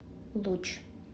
луч